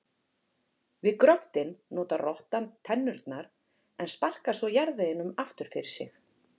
Við gröftinn notar rottan tennurnar en sparkar svo jarðveginum aftur fyrir sig.